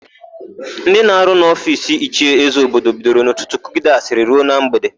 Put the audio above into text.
Ndị na-arụ n'ofiisi Ichie Ezeobi bidoro n'ụtụtụ kụgide asịrị ruo na mgbede.